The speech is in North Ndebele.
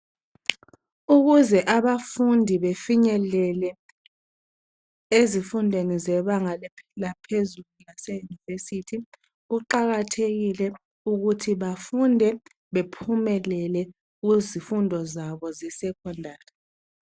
Ukuze abafundi befinyelele ezifundweni zebanga laphezulu laseYunivesithi kuqakathekile ukuthi bafunde bephumelele kuzifundo zabo zeSecondary.